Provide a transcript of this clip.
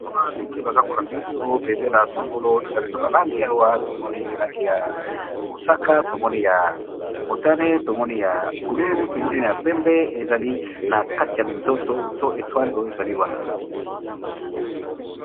Bendele oyo eza na langi ya mosaka, langi ya motane na bozinga pe minzoto ezali na langi ya pembe.